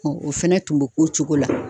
o fɛnɛ tun bɛ k'o cogo la.